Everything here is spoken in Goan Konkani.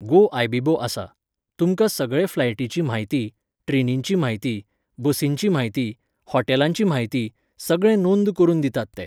गो आयबीबो आसा. तुमकां सगळें फ्लायटींची म्हायती, ट्रेनींची म्हायती, बसींची म्हायती, हॉटेलांची म्हायती, सगळें नोंद करुन दितात ते.